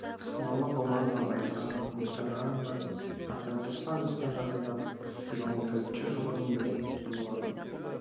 саналы ғұмырын абайға мұхтарға арнап ақыры тоқсан жасқа жақындап екі мың төртінші жылы өмірден өткен болатын